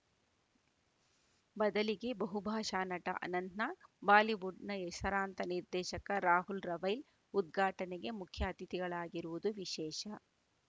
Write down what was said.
ಬದಲಿಗೆ ಬಹುಭಾಷಾ ನಟ ಅನಂತನಾಗ್‌ ಬಾಲಿವುಡ್‌ನ ಹೆಸರಾಂತ ನಿರ್ದೇಶಕ ರಾಹುಲ್‌ ರವೈಲ್‌ ಉದ್ಘಾಟನೆಗೆ ಮುಖ್ಯಅತಿಥಿಗಳಾಗಿರುವುದು ವಿಶೇಷ